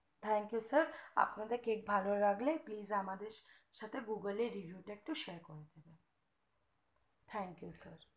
thank you sir আপনাদের একটু cake ভালো লাগলে please আমাদের সাথে google review share একটু করে দেবেন thank you sir